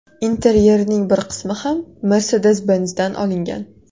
Interyerining bir qismi ham Mercedes-Benz’dan olingan.